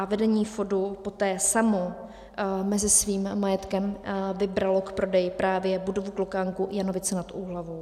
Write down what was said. A vedení FODu poté samo mezi svým majetkem vybralo k prodeji právě budovu Klokánku Janovice nad Úhlavou.